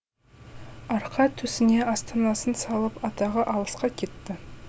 арқа төсіне астанасын салып атағы алысқа кетті